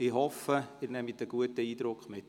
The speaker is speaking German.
Ich hoffe, Sie nehmen einen guten Eindruck mit.